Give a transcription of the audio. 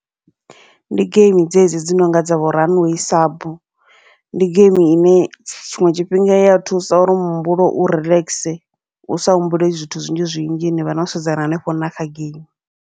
Ndi geimi dzedzi dzi nonga dza vho runway sub, ndi geimi ine tshiṅwe tshifhinga iya thusa uri muhumbulo u relaxer usa humbule zwithu zwinzhi zwinzhi nivha no sedzana hanefho na kha geimi.